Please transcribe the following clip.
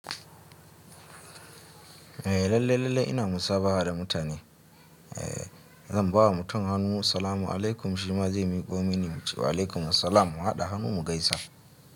Eh lalle, lalle ina musabaha da mu tane. Eh zan ba wa mutum hannu, "Salamu alaikum," shi ma zai miƙo mini muce "Waalaikum assalam," mu haɗa hannu mu gaisa.